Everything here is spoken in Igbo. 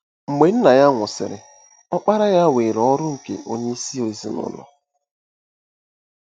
Mgbe nna ya nwụsịrị, ọkpara ya weere ọrụ nke onyeisi ezinụlọ.